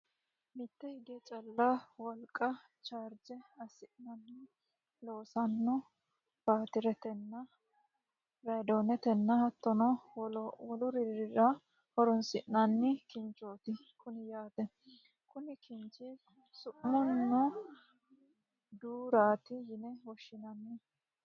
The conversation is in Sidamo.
mitte hige calla wolga chaarje assineenna loosanno baatiretenna raadooneteno hattono wolurirano horonsi'nanni kinchooti kuni yaate, konni kinchi su'mino duurata yine woshshinanniho.